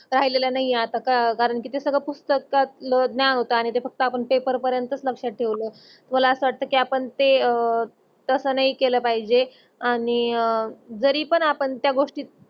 राहीलेल नाही अत्ता का कारण कि ते सगळ फक्त ते आपण पेपर पर्यंत लक्षात ठेवलं. आपण ते तस नाही केल पाहिजे आणि जरी पण आपन त्या गोष्टी